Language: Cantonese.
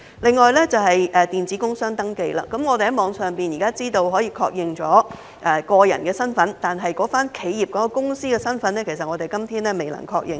另外便是電子工商登記，我們現時可以在網上確認個人身份，但企業或公司的身份至今其實也是未能確認的。